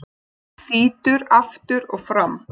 Þýtur aftur og fram.